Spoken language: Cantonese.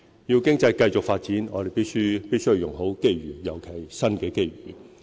要經濟繼續發展，我們必須用好機遇，尤其是新的機遇。